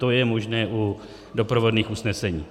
To je možné u doprovodných usnesení.